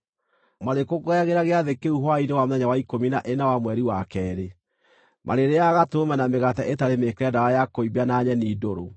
Marĩkũngũyagĩra gĩathĩ kĩu hwaĩ-inĩ wa mũthenya wa ikũmi na ĩna wa mweri wa keerĩ. Marĩrĩĩaga gatũrũme na mĩgate ĩtarĩ mĩĩkĩre ndawa ya kũimbia na nyeni ndũrũ.